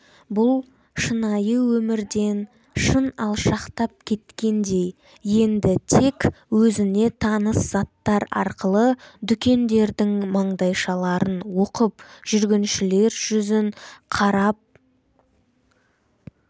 бұл шынайы өмірден шын алшақтап кеткендей енді тек өзіне таныс заттар арқылы дүкендердің маңдайшаларын оқып жүргіншілер жүзін қарап